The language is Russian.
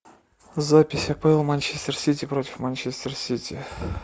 запись апл манчестер сити против манчестер сити